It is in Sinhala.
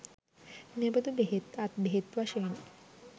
මෙබඳු බෙහෙත්, අත් බෙහෙත් වශයෙන්